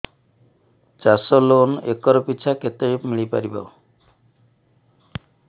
ଚାଷ loan acre ପିଛା କେତେ ମିଳି ପାରିବ